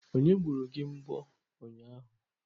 Onye gbupụrụ gị mbọ ụnyahụ?